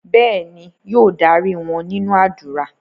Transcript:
Bẹ́ẹ̀ni, yóò darí wọn nínú ádùrá.